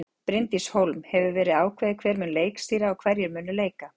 Bryndís Hólm: Hefur verið ákveðið hver mun leikstýra og hverjir munu leika?